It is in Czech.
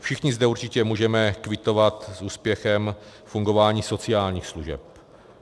Všichni zde určitě můžeme kvitovat s úspěchem fungování sociálních služeb.